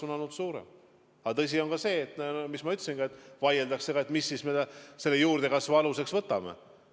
Aga tõsi on ka see, nagu ma ütlesin, et vaieldakse sellegi üle, mida me juurdekasvu aluseks võtame.